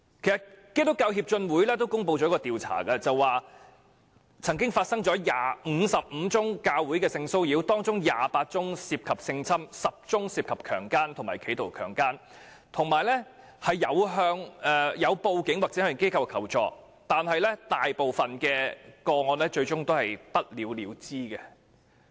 基督教協進會公布的調查結果顯示，在55宗涉及教會的性騷擾個案中，有28宗涉及性侵犯，有10宗涉及強姦和企圖強姦，並已報警及向有關機構求助，但大部分個案最終都是不了了之。